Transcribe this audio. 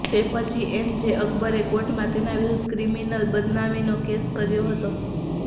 તે પછી એમજે અકબરે કોર્ટમાં તેના વિરૂધ્ધ ક્રિમિનલ બદનામીનો કેસ કર્યો હતો